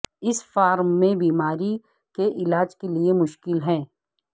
اس form میں بیماری کے علاج کے لئے مشکل ہے